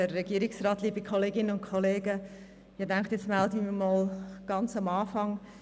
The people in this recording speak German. Ich habe gedacht, nun melde ich mich einmal ganz am Anfang.